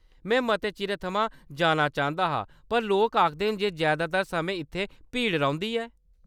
में मते चिरै थमां जाना चांह्‌‌‌दा हा, पर लोक आखदे न जे जैदातर समें इत्थै भीड़ रौंह्‌दी ऐ।